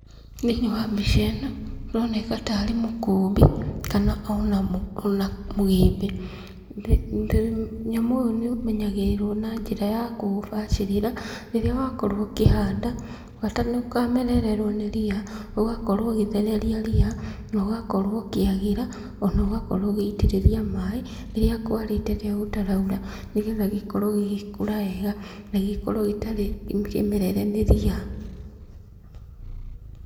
Thĩiniĩ wa mbica ĩno kũroneka ta rĩ mũkũmbĩ kana o na mũgĩmbĩ, mũnyamũ ũyũ nĩũmenyagĩrĩrwo na njĩra ya kũũbacĩrĩra rĩrĩa wakorwo ũkĩhanda, bata ndũkamererwo nĩ ria, ũgakorwo ũgĩthereria ria, na ũgakorwo ũkĩagĩra, o na ũgakorwo ũgĩitĩrĩria maĩ rĩrĩa kwarĩte rĩrĩa gũtaraura, nĩgetha gĩkorwo gĩgĩkũra wega na gĩkorwo gĩtarĩ kĩmerere nĩ ria.